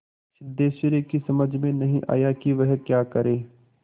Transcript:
सिद्धेश्वरी की समझ में नहीं आया कि वह क्या करे